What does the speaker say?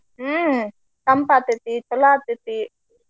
ಹ್ಮ ತಂಪ ಆಗ್ತೆತಿ, ಚೊಲೋ ಆಗ್ತೆತಿ.